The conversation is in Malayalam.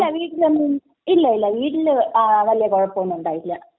ഇല്ലില്ല, വീട്ടില് വല്യ കുഴപ്പമൊന്നും ഉണ്ടായിട്ടില്ല.